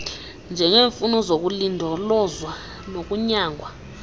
njengeemfuno zokulindolozwa nokunyangwa